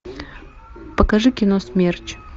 покажи кино смерч